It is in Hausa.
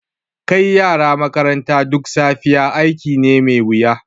Kai yara makaranta duk safiya aiki ne mai wuya.